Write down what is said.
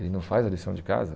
Ele não faz a lição de casa?